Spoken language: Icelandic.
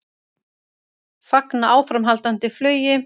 Fagna áframhaldandi flugi